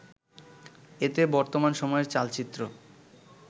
এতে বর্তমান সময়ের চালচিত্র